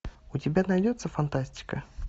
у тебя найдется фантастика